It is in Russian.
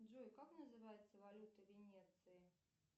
джой как называется валюта венеции